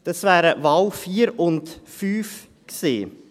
Das wären die Wahlen 4 und 5 gewesen.